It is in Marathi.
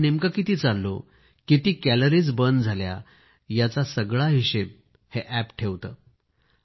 आपण नेमके किती चाललो किती कॅलरीज बर्न झाल्या यांचा सगळा हिशेब हे अॅप ठेवते